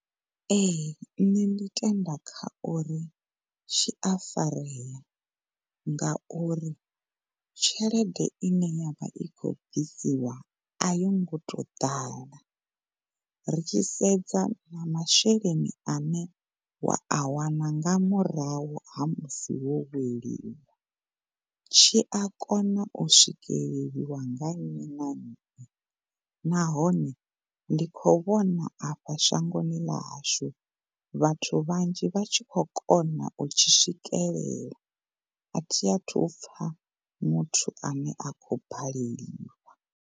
Ehe, ṋne ndi tenda kha uri tshi afarea ngauri tshelede ine yavha i khou bvisiwa ai ngo tou ḓala. Ri tshi sedza na masheleni ane wa a wana nga murahu ha musi wo weliwa tshi a kona u swike le liwa nga nnyi na nnyi nahone ndi kho vhona a fha shangoni ḽa hashu vhathu vhanzhi vha tshi kho kona u tshi swikelela a thi athu upfa muthu ane a khou baleliwa.